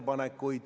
Kaja Kallas, palun!